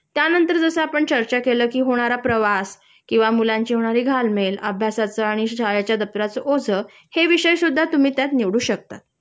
त्यानंतर जस आपण चर्चा केलं कि होणारा प्रवास किंवा मुलांची होणारी घालमेल, अभ्यासाचं आणि शाळेच्या दप्तराचं ओझं हे विषयसुद्धा तुम्ही त्यात निवडू शकता